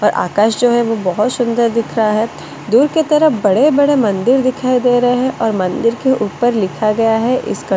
और आकाश जो है वो बहुत सुंदर दिख रहा है दूर के तरफ बड़े-बड़े मंदिर दिखाई दे रहे हैं और मंदिर के ऊपर लिखा गया है इसका--